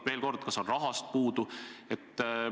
Veel kord: kas on raha puudu?